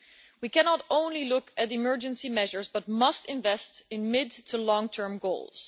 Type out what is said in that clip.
We cannot only look at emergency measures but must invest in mid to long term goals.